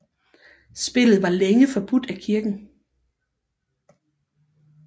Spillet var længe forbudt af kirken